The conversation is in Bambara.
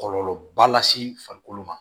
Kɔlɔlɔba lase farikolo ma